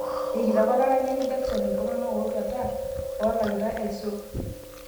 Erikito ake olaranyani Jakison iltung'anak otuata olakitae aisul